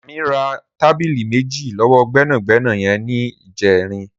Remi rà tábìlí méji lọwọ gbẹnágbẹná yèn nijèrín